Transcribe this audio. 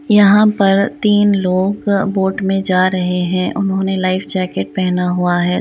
यहाँ पर तीन लोग बोट में जा रहे हैं उन्होंने लाइफ जैकेट पहना हुआ है।